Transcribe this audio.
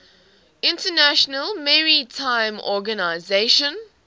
international maritime organization